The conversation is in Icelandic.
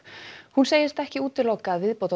hún segist ekki útiloka að